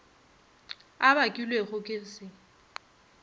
a bakilwego ke go se